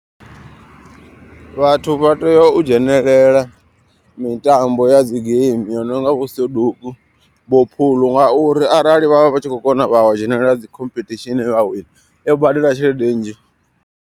Vhathu vha tea u dzhenelela mitambo ya dzi geimi yo nonga vho soduku vho phuḽu. Ngauri arali vhavha vhatshi kho kona vha dzhenelela dzi khomphethishini vha wina i badela tshelede nnzhi.